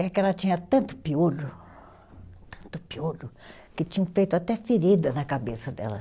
É que ela tinha tanto piolho, tanto piolho, que tinham feito até ferida na cabeça dela.